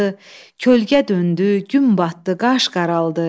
Kölge döndü, gün batdı, qaş qaraldı.